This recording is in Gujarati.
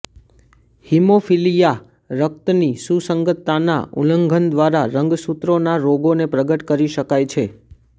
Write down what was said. હીમોફીલિયા રક્તની સુસંગતતાના ઉલ્લંઘન દ્વારા રંગસૂત્રોના રોગોને પ્રગટ કરી શકાય છે